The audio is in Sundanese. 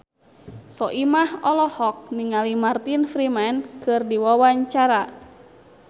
Soimah olohok ningali Martin Freeman keur diwawancara